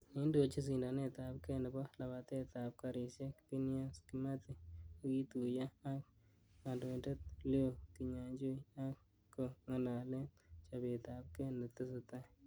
Neindochin sindanetab gee nebo lapatet ab garisiek phineas kimathi, kokituyo ak kandoindet Lew kinyajui ak ko ngalalen chobetab gee ne tesetai.